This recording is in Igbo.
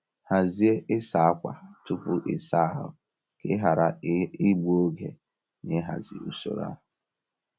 Hazie ịsa ákwà tupu ịsa ahụ ka ị ghara igbu oge na ịhazi usoro a.